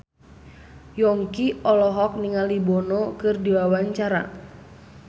Yongki olohok ningali Bono keur diwawancara